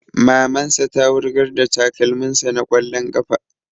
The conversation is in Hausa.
Maman sa ta wurgar da takalmin sa na ƙwallon ƙafa